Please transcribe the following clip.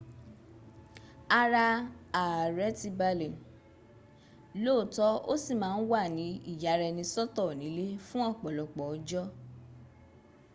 ara ààrẹ̀ ti balẹ̀ lóòótọ́ ó sì má a wà ní ìyaraẹnisọ́tọ̀ nílé fún ọ̀pọ̀lọpọ̀ ọjọ́